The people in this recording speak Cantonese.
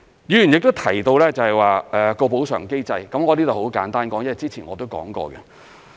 議員亦提到補償機制，我在這裏很簡單說，因為我之前亦已經談過。